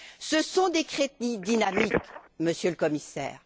Ces sont des crédits dynamiques, Monsieur le Commissaire.